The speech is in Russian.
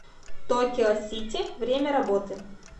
токио сити время работы